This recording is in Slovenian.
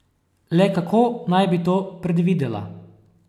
Le kako naj bi to predvidela?